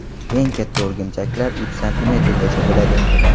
Eng katta o‘rgimchaklar uch santimetrgacha bo‘ladi.